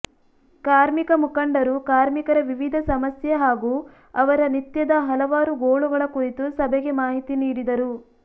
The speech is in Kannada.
ಕಾರ್ಮಿಕ ಮುಖಂಡರು ಕಾರ್ಮಿಕರ ವಿವಿಧ ಸಮಸ್ಯೆ ಹಾಗೂ ಅವರ ನಿತ್ಯದ ಹಲವಾರು ಗೋಳುಗಳ ಕುರಿತು ಸಭೆಗೆ ಮಾಹಿತಿ ನೀಡಿದರು